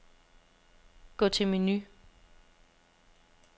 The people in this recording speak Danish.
Gå til menu.